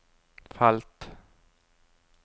felt